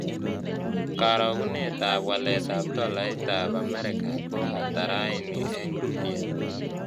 Karogenetap waletap tolaitap amerika ko ata raini eng' rupia